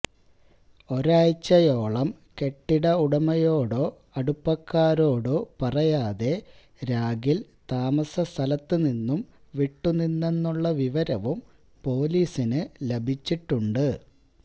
ഒരാഴ്ചയോളം കെട്ടിട ഉടമയോടോ അടുപ്പക്കാരോടൊ പറയാതെ രാഗിൽ താമസസ്ഥലത്തുനിന്നും വിട്ടുനിന്നെന്നുള്ള വിവരവും പൊലീസിന് ലഭിച്ചിട്ടുണ്ട്